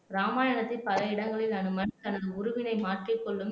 ராமாயணத்தில் பல இடங்களில் அனுமன் தனது உருவினை மாற்றிக் கொள்ளும் திறன்